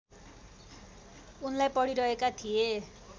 उनलाई पढिरहेका थिए